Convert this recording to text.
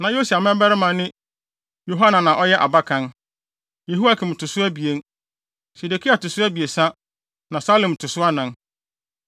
Na Yosia mmabarima ne Yohanan a ɔyɛ abakan, Yehoiakim to so abien, Sedekia to so abiɛsa, na Salum to so anan.